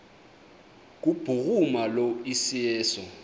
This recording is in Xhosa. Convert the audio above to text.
kubhuruma lo iseso